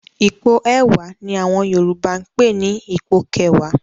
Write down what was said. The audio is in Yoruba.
Ipò ẹ̀wá ni àwọn Yorùbá ń pè ní "ipò kẹwàá".